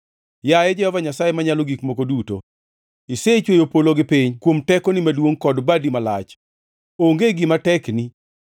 “Yaye, Jehova Nyasaye Manyalo Gik Moko Duto, isechweyo polo gi piny kuom tekoni maduongʼ kod badi malach. Onge gima tekni.